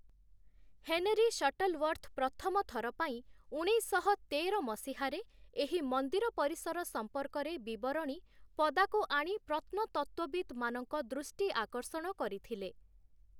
Henry Shuttleworth ପ୍ରଥମ ଥର ପାଇଁ, ଉଣେଇଶଶହ ତେର ମସିହାରେ, ଏହି ମନ୍ଦିର ପରିସର ସଂପର୍କରେ ବିବରଣୀ ପଦାକୁ ଆଣି ପ୍ରତ୍ନତତ୍ତ୍ଵବିତ୍‌ମାନଙ୍କ ଦୃଷ୍ଟି ଆକର୍ଷଣ କରିଥିଲେ ।